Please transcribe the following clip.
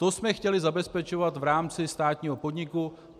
To jsme chtěli zabezpečovat v rámci státního podniku.